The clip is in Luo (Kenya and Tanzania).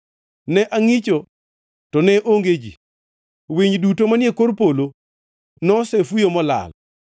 Ne angʼicho to ne onge ji, winy duto manie kor polo nosefuyo molal.